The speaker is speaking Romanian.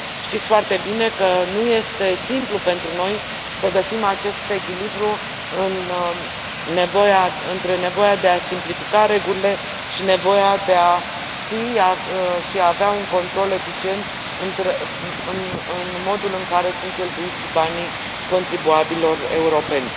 Știți foarte bine că nu este simplu pentru noi să găsim acest echilibru între nevoia de a simplifica regulile și nevoia de a ști și a avea un control eficient asupra modului în care sunt cheltuiți banii contribuabililor europeni.